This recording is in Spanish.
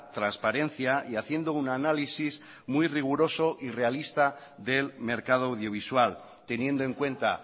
transparencia y haciendo un análisis muy riguroso y realista del mercado audiovisual teniendo en cuenta